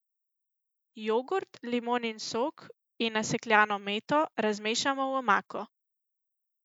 Jogurt, limonin sok in nasekljano meto razmešamo v omako.